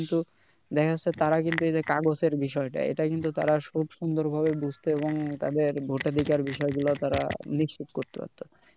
কিন্তু দেখা যাচ্ছে তারা কিন্তু এই যে কাগজের বিষয়টা এটা কিন্তু তারা খুব সুন্দর ভাবে বুঝতো এবং তাদের vote ধিকার বিষয় গুলা তারা নিশ্চিত করতে পারতো